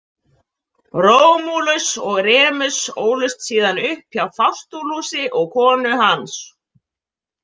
Rómúlus og Remus ólust síðan upp hjá Fástúlusi og konu hans.